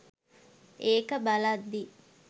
ඒක බලද්දි.